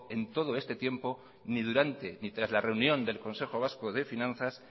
en todo este tiempo ni durante ni tras la reunión del consejo vasco de finanzas